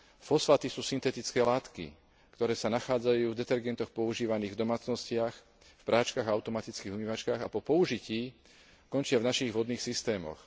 Fosfáty sú syntetické látky, ktoré sa nachádzajú v detergentoch používaných v domácnostiach, v práčkach a automatických umývačkách a po použití končia v našich vodných systémoch.